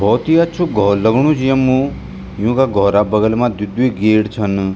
भौत ही अच्छू घौर लगणु च यम्मु यूँका घौरा क बगल मा द्वि द्वि गेट छन।